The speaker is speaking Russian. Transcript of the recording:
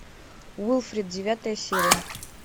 уилфред девятая серия